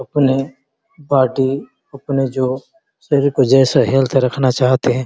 अपने बॉडी अपने जॉय सभी को जैसा हैल्थ रखना चाहते है।